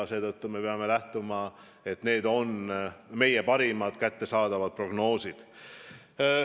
Ja seetõttu me peame lähtuma parimatest kättesaadavatest prognoosidest.